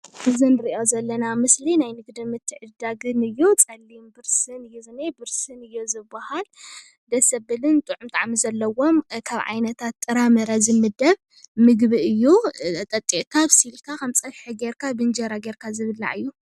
እዛ ንሪኣ ዘለና ምስሊ ናይ ንግድን ምትዕድዳግን እዩ ፀሊም ብርስን እዩ ዝንሄ ብርስን እዩ ዝበሃል:: ደስ ዘብልን ጥዑም ጣዕሚ ዘለዎን ኣብ ዓይነታት ጥራምረ ዝምደብ ምግቢ እዩ:: ጠጢቅካ ኣብሲልካ ከም ፀብሒ ጌርካ ብእንጀራ ጌርካ ዝብላዕ እዩ።